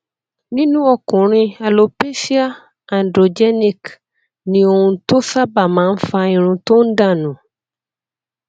nínú ọkùnrin alopecia androgenic ni ohun tó sábà máa ń fa irun tó ń dà nù